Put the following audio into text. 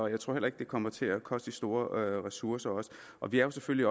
jeg tror heller ikke det kommer til at koste de store ressourcer og vi er selvfølgelig